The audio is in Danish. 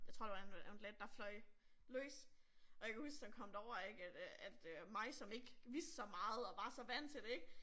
Jeg tror det var en undulat der fløj løs og jeg kan huske når man kom derover ik at at øh mig som ikke vidste så meget og var så vant til det ik